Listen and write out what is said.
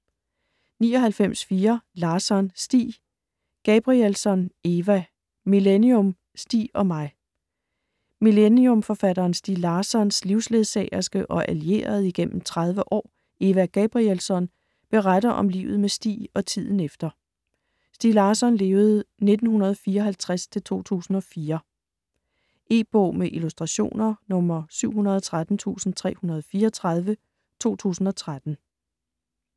99.4 Larsson, Stieg Gabrielsson, Eva: Millennium - Stieg og mig Millennium-forfatteren Stieg Larssons (1954-2004) livsledsagerske og allierede igennem 30 år, Eva Gabrielsson, beretter om livet med Stieg og tiden efter. E-bog med illustrationer 713334 2013.